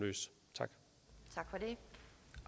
tak